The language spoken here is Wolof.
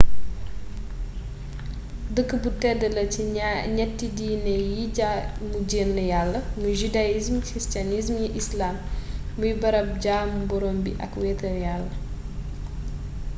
dëkk bu tedd la ci ñatti diini yiy jaamu jenn yàlla muy judaïsme christianisme islam muy barab jaamu boroom bi ak wéetal yàlla